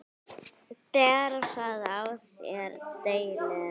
Ber það á sér delinn.